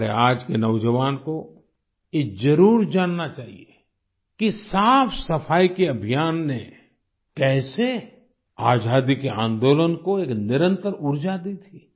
हमारे आज के नौजवान को ये जरुर जानना चाहिए कि साफ़सफाई के अभियान ने कैसे आजादी के आन्दोलन को एक निरंतर ऊर्जा दी थी